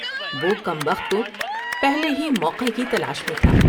وہ کم بخت تو پہلے ہی موقع کی تلاش میں تھا ۔